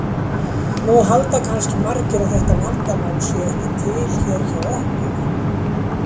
Nú halda kannski margir að þetta vandamál sé ekki til hér hjá okkur.